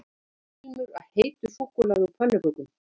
Það var ilmur af heitu súkkulaði og pönnukökum